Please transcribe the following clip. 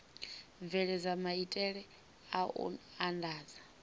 bveledza maitele a u andadza